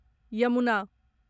Yamuna